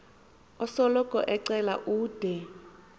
osoloko ecela ude